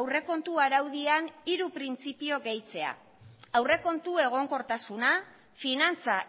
aurrekontu araudian hiru printzipio gehitzea aurrekontu egonkortasuna finantza